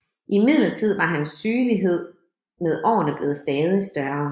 Imidlertid var hans sygelighed med årene blevet stadig større